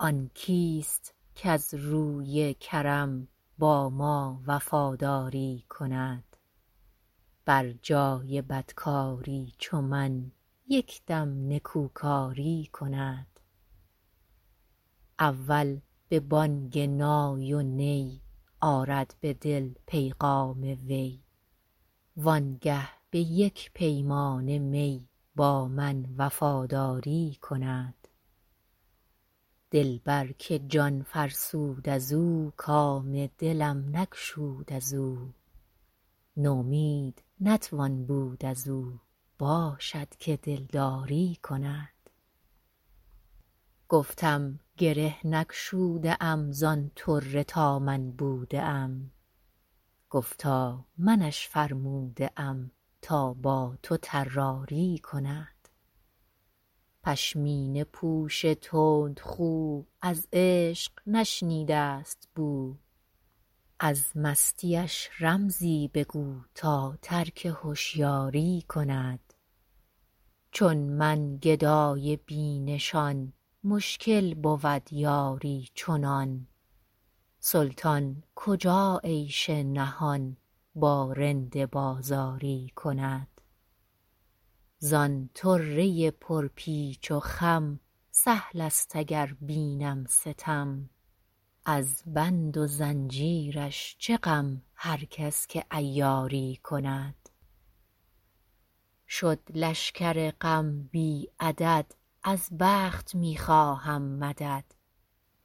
آن کیست کز روی کرم با ما وفاداری کند بر جای بدکاری چو من یک دم نکوکاری کند اول به بانگ نای و نی آرد به دل پیغام وی وانگه به یک پیمانه می با من وفاداری کند دلبر که جان فرسود از او کام دلم نگشود از او نومید نتوان بود از او باشد که دلداری کند گفتم گره نگشوده ام زان طره تا من بوده ام گفتا منش فرموده ام تا با تو طراری کند پشمینه پوش تندخو از عشق نشنیده است بو از مستیش رمزی بگو تا ترک هشیاری کند چون من گدای بی نشان مشکل بود یاری چنان سلطان کجا عیش نهان با رند بازاری کند زان طره پرپیچ و خم سهل است اگر بینم ستم از بند و زنجیرش چه غم هر کس که عیاری کند شد لشکر غم بی عدد از بخت می خواهم مدد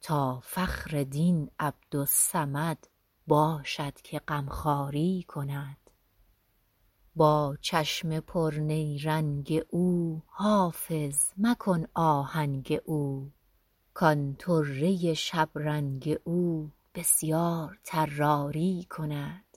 تا فخر دین عبدالصمد باشد که غمخواری کند با چشم پرنیرنگ او حافظ مکن آهنگ او کان طره شبرنگ او بسیار طراری کند